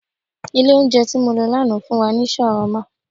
Ilẹ̀ oúnjẹ ti mọ lọ lánàá fun wa ni ṣàwámà